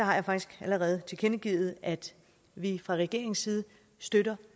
har jeg faktisk allerede tilkendegivet at vi fra regeringens side støtter